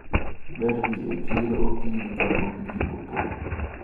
Ber dhi e chiro okinyi kapok ji opong`.